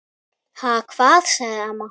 Ha, hvað? sagði amma.